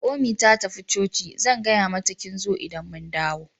Naomi ta tafi coci, zan gaya mata kin zo idan mun dawo.